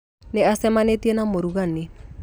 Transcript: Nĩ acemaĩtie na mũragani